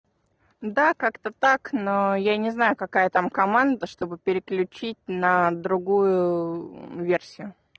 да как-то так но я не знаю какая там команда чтобы переключить на другую версию